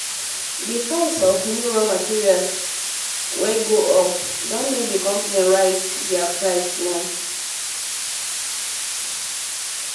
the price of of um raw material wey go up um don make the company raise um dia price small.